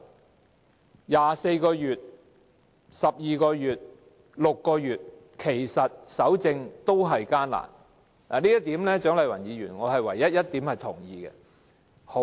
無論是24個月、12個月或6個月，其實搜證同樣困難，這是我唯一認同蔣麗芸議員的一點。